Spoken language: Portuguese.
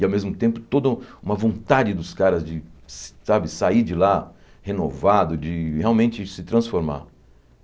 E, ao mesmo tempo, toda uma vontade dos caras de, sa sabe, sair de lá renovado, de realmente se transformar.